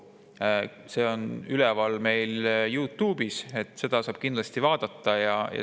Selle istungi salvestus on üleval meie Youtube'i kanalil, seda saab kindlasti vaadata.